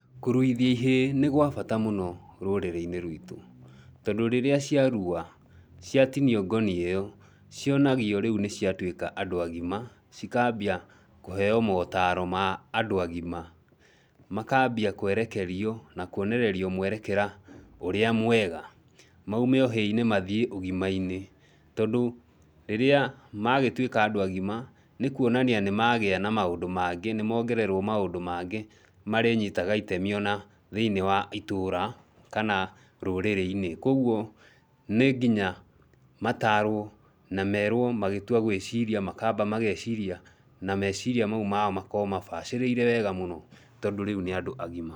Kũruithia ihĩĩ nĩ kwa bata mũno rũrĩrĩ-inĩ rwitũ. Tondũ rĩrĩa ciarua, ciatinio ngoni ĩyo, cionagio rĩu nĩ ciatuĩka andũ agima, cikambia kũheo motaro ma andũ agima, makambia kũerekerio, na kũonererio mwerekera ũrĩa mwega. Maume ũhĩĩ-inĩ mathiĩ ũgima-inĩ, tondũ rĩrĩa magĩtuĩka andũ agima, nĩ kũonania nĩ magĩa na maũndũ mangĩ, nĩ mongererwo maũndũ mangĩ marĩ nyitaga itemi ona thĩinĩ wa itũũra, kana rũrĩrĩ-inĩ, kwoguo nĩ nginya mataarũo na merũo magĩtua gwĩciria makamba mageciria na meciria mau mao makorũo mabacĩrĩire wega mũno tondũ rĩu nĩ andũ agima.